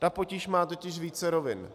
Ta potíž má totiž více rovin.